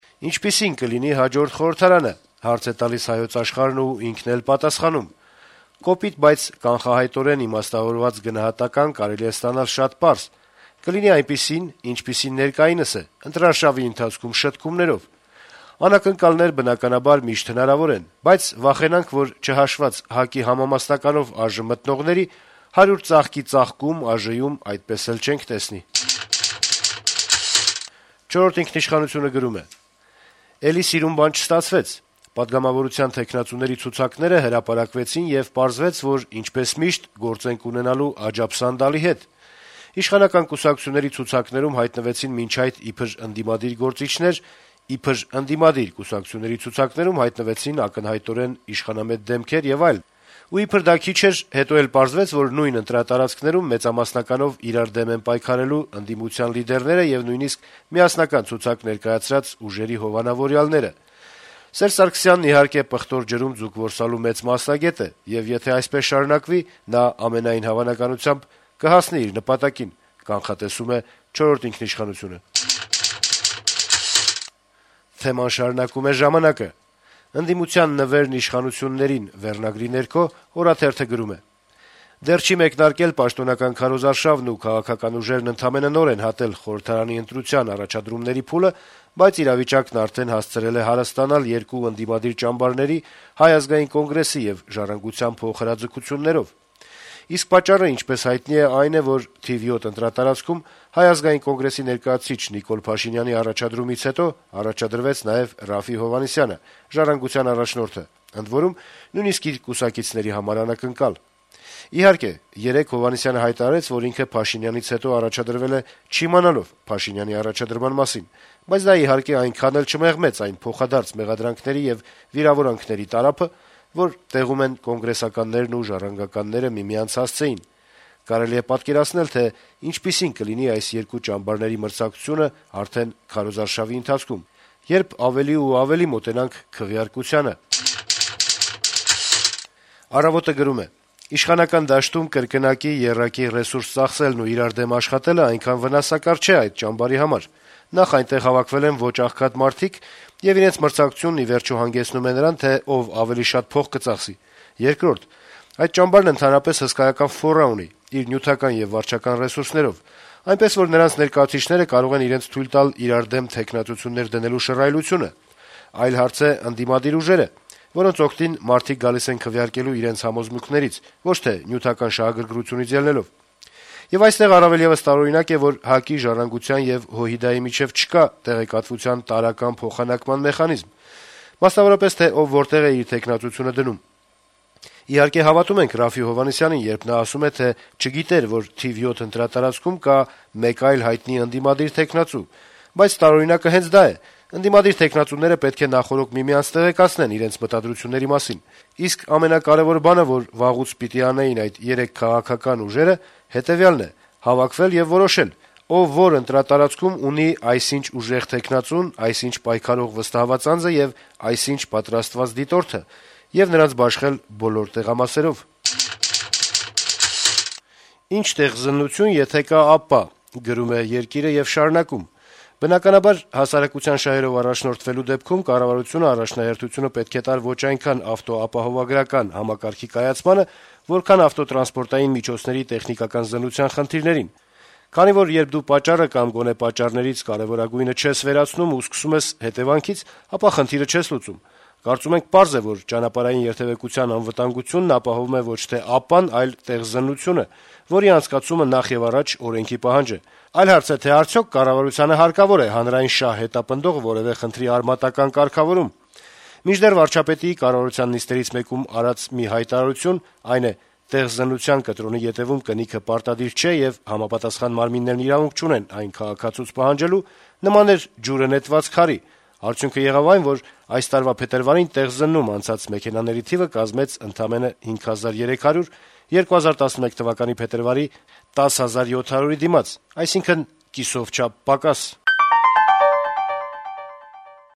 «Ինչպիսի՞ն կլինի հաջորդ խորհրդարանը», - հարց է տալիս «Հայոց աշխարհ»-ը ու պատասխանում․ - «Կոպիտ, բայց կանխահայտորեն իմաստավորված գնահատական կարելի է ստանալ շատ պարզ. կլինի այնպիսին, ինչպիսին ներկայինս է, ընտրարշավի ընթացքում շտկումներով։ Անակնկալներ, բնականաբար, միշտ հնարավոր են, բայց վախենանք, որ, չհաշված ՀԱԿ-ի համամասնականով ԱԺ մտնողների, հարյուր ծաղկի ծաղկում ԱԺ-ում այդպես էլ չենք տեսնի»։ «Չորրորդ ինքնիշխանություն»-ը գրում է․ - «Էլի սիրուն բան չստացվեց։ Պատգամավորության թեկնածուների ցուցակները հրապարակվեցին, եւ պարզվեց, որ ինչպես միշտ՝ գործ ենք ունենալու «աջաբսանդալի» հետ։ Իշխանական կուսակցությունների ցուցակներում հայտնվեցին մինչ այդ իբր ընդդիմադիր գործիչներ, իբր ընդդիմադիր կուսակցությունների ցուցակներում հայտնվեցին ակնհայտորեն իշխանամետ դեմքեր եւ այլն, ու իբր դա քիչ էր՝ հետո էլ պարզվեց, որ նույն ընտրատարածքներում մեծամասնականով իրար դեմ են պայքարելու ընդդիմության լիդերները եւ նույնիսկ միասնական ցուցակ ներկայացրած ուժերի «հովանավորյալները»։ Սերժ Սարգսյանն, իհարկե, պղտոր ջրում ձուկ որսալու մեծ մասնագետ է, եւ եթե այսպես շարունակվի՝ նա ամենայն հավանականությամբ կհասնի իր նպատակին»։ Թեման շարունակում է «Ժամանակ»-ը։ «Ընդդիմության նվերն իշխանություններին» վերնագրի ներքո թերթը գրում է․ - «Դեռ չի մեկնարկել պաշտոնական քարոզարշավն ու քաղաքական ուժերն ընդամենը նոր են հատել խորհրդարանի ընտրության առաջադրումների փուլը, բայց իրավիճակն արդեն հասցրել է հարստանալ երկու ընդդիմադիր ճամբարների՝ Հայ ազգային կոնգրեսի և Ժառանգության փոխհրաձգություններով: Իսկ պատճառը, ինչպես հայտնի է, այն է, որ թիվ 7 ընտրատարածքում Հայ ազգային կոնգրեսի ներկայացուցիչ Նիկոլ Փաշինյանի առաջադրումից հետո առաջադրվեց նաև Րաֆֆի Հովհաննիսյանը՝ Ժառանգության առաջնորդը, ընդ որում՝ նույնիսկ իր կուսակիցների համար անակնկալ: Իհարկե, երեկ Հովհաննիսյանը հայտարարեց, որ ինքը Փաշինյանից հետո առաջադրվել է՝ չիմանալով Փաշինյանի առաջադրման մասին, բայց դա, իհարկե, այնքան էլ չմեղմեց այն փոխադարձ մեղադրանքների և վիրավորանքների տարափը, որ տեղում են կոնգրեսականներն ու ժառանգականները միմյանց հասցեին: Կարելի է պատկերացնել, թե ինչպիսին կլինի այս երկու ճամբարների մրցակցությունը արդեն քարոզարշավի ընթացքում, երբ ավելի ու ավելի մոտենանք քվեարկությանը»։ «Առավոտ»-ը գրում է․ - «Իշխանական դաշտում կրկնակի (եռակի) ռեսուրս ծախսելն ու իրար դեմ աշխատելը այնքան վնասակար չէ այդ ճամբարի համար: Նախ` այնտեղ հավաքվել են ոչ աղքատ մարդիկ, եւ իրենց մրցակցությունն, ի վերջո, հանգեցնում է նրան, թե ով ավելի շատ փող կծախսի: Երկրորդ` այդ ճամբարն ընդհանրապես հսկայական «ֆորա» ունի` իր նյութական եւ վարչական ռեսուրսներով, այնպես որ` նրանց ներկայացուցիչները կարող են իրենց թույլ տալ իրար դեմ թեկնածություններ դնելու շռայլությունը: Այլ հարց է ընդդիմադիր ուժերը, որոնց օգտին մարդիկ գալիս են քվեարկելու իրենց համոզմունքներից, ոչ թե նյութական շահագրգռությունից ելնելով: Եվ այստեղ առավել եւս տարօրինակ է, որ ՀԱԿ-ի, «Ժառանգության» եւ ՀՅԴ-ի միջեւ չկա տեղեկատվության տարրական փոխանակման մեխանիզմ, մասնավորապես` թե ով որտեղ է իր թեկնածությունը դնում: Իհարկե, հավատում եմ Րաֆֆի Հովհաննիսյանին, երբ նա ասում է, թե չգիտեր, որ թիվ 7 ընտրատարածքում կա մեկ այլ հայտնի ընդդիմադիր թեկնածու, բայց տարօրինակը հենց դա է` ընդդիմադիր թեկնածուները պետք է նախօրոք միմյանց տեղեկացնեն իրենց մտադրությունների մասին: Իսկ ամենակարեւոր բանը, որ վաղուց պիտի անեին այդ երեք քաղաքական ուժերը, հետեւյալն է` հավաքվել եւ որոշել` ով որ ընտրատարածքում ունի այսինչ ուժեղ թեկնածուն, այսինչ պայքարող վստահված անձը եւ այսինչ պատրաստված դիտորդը, եւ նրանց բաշխել բոլոր տեղամասերով»։ «Ի՞նչ տեխզննություն, եթե կա ԱՊՊԱ», - գրում է «Երկիր»-ը եւ շարունակում․ - «Բնականաբար, հասարակության շահերով առաջնորդվելու դեպքում կառավարությունը առաջնահերթությունը պետք է տար ոչ այնքան ավտոապահովագրական համակարգի կայացմանը, որքան ավտոտրանսպորտային միջոցների տեխնիկական զննության խնդիրներին: Քանի որ երբ դու պատճառը կամ գոնե պատճառներից կարեւորագույնը չես վերացնում ու սկսում ես հետեւանքից, ապա խնդիրը չես լուծում: Կարծում եմ` պարզ է, որ ճանապարհային երթեւկության անվտանգությունն ապահովում է ոչ թե ԱՊՊԱ-ն, այլ` տեխզննությունը, որի անցկացումը, նախ եւ առաջ, օրենքի պահանջ է: Այլ հարց է, թե արդյո՞ք կառավարությանը հարկավոր է հանրային շահ հետապնդող որեւէ խնդրի արմատական կարգավորում: Մինչդեռ վարչապետի` կառավարության նիստերից մեկում արված մի հայտարարություն (այն է` տեխզննության կտրոնի ետեւում կնիքը պարտադիր չէ, եւ համապատասխան մարմիններն իրավունք չունեն այն քաղաքացուց պահանջելու)` նման էր ջուրը նետված քարի. արդյունքը եղավ այն, որ այս տարվա փետրվարին տեխզննում անցած մեքենաների թիվը կազմեց ընդամենը 5300` 2011թ. փետրվարի 10700-ի դիմաց, այսինքն` կիսով չափ պակաս»: